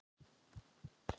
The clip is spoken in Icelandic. Þá sef ég